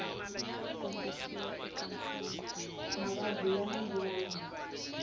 mavabyi ya manguva lawa